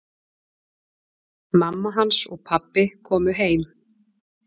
Mamma hans og pabbi komu heim.